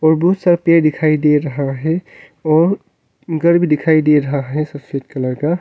बहुत सा पेड़ दिखाई दे रहा हैं और घर भी दिखाई दे रहा हैं सफेद कलर का।